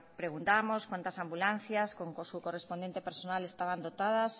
preguntábamos cuántas ambulancias con su correspondiente personal estaban dotadas